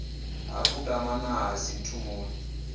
ha kutama na ha sinthumule